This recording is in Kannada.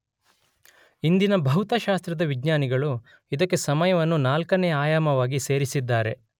ಇಂದಿನ ಭೌತಶಾಸ್ತ್ರದ ವಿಜ್ನಾನಿಗಳು ಇದಕ್ಕೆ ಸಮಯವನ್ನು ನಾಲ್ಕನೆ ಆಯಾಮವಗಿ ಸೇರಿಸಿದ್ದಾರೆ.